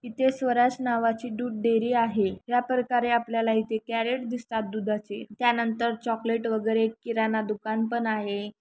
इथे स्वराज नावाची दूध डेअरी आहे. या प्रकारे आपल्याला इथे कैरेट दिसतात दुधाचे. त्यानंतर चोकलेट वगेरे किराणा दुकान पण आहे.